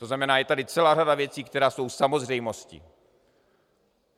To znamená, je tady celá řada věcí, která jsou samozřejmostí.